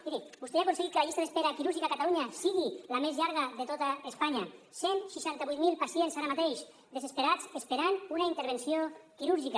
miri vostè ja ha aconseguit que la llista d’espera quirúrgica a catalunya sigui la més llarga de tota espanya cent i seixanta vuit mil pacients ara mateix desesperats esperant una intervenció quirúrgica